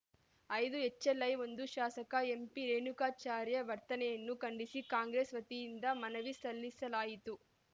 ಐದು ಎಚ್‌ಎಲ್‌ಐ ಒಂದು ಶಾಸಕ ಎಂಪಿರೇಣುಕಾಚಾರ್ಯ ವರ್ತನೆಯನ್ನು ಖಂಡಿಸಿ ಕಾಂಗ್ರೆಸ್‌ ವತಿಯಿಂದ ಮನವಿ ಸಲ್ಲಿಸಲಾಯಿತು